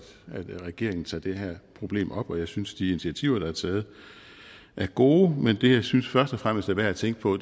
regeringen tager det her problem op og jeg synes at de initiativer der er taget er gode men det jeg synes først og fremmest er værd at tænke på